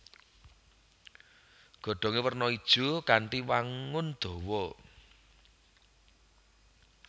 Godhongé werna ijo kanthi wangun dawa